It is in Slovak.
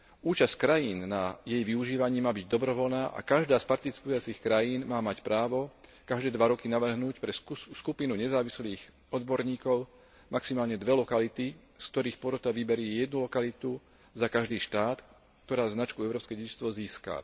Účasť krajín na jej využívaní má byť dobrovoľná a každá z participujúcich krajín má mať právo každé dva roky navrhnúť pre skupinu nezávislých odborníkov maximálne dve lokality, z ktorých porota vyberie jednu lokalitu za každý štát, ktorá značku Európske dedičstvo získa.